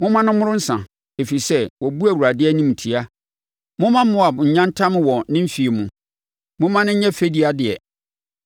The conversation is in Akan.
“Momma no mmoro nsã, ɛfiri sɛ wabu Awurade animtia. Momma Moab nyantam wɔ ne feɛ mu; momma no nyɛ fɛdideɛ.